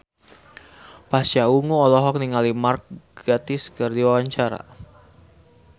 Pasha Ungu olohok ningali Mark Gatiss keur diwawancara